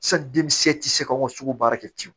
denkisɛ tɛ se ka anw ka sugu baara kɛ ten